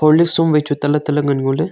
losu wai tale tale ngan ngo le.